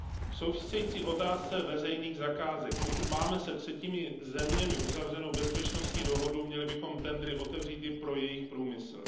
K související otázce veřejných zakázek Pokud máme se třetími zeměmi uzavřenou bezpečnostní dohodu, měli bychom tendry otevřít i pro jejich průmysl.